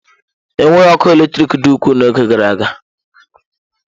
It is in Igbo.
Enweghị ọkụ eletrik dị ukwuu n'oge gara aga.